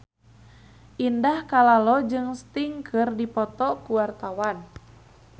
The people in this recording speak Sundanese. Indah Kalalo jeung Sting keur dipoto ku wartawan